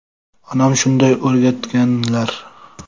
Onam shunday o‘rgatganlar.